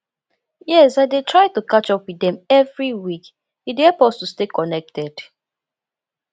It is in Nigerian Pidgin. yes i dey try to catch up with dem every week e dey help us to stay connected